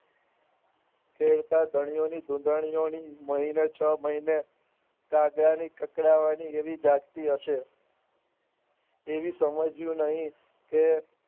શેરપા ધણીની ધૂંધણીઓની મહિને છ મહિને કાગવાણી કાકડાવાની એવી જાગતી હશે એવી સમજ્યું નહિ કે